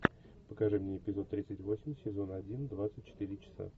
покажи мне эпизод тридцать восемь сезона один двадцать четыре часа